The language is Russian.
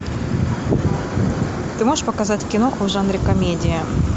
ты можешь показать киноху в жанре комедия